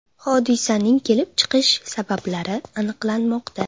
Hodisaning kelib chiqish sabablari aniqlanmoqda.